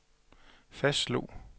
fastslog